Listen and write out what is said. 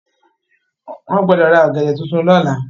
Wọ́n gbọdọ̀ ra ogẹ̀dẹ̀ tuntun lọ́la.